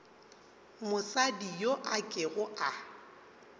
mosadi yo a kego a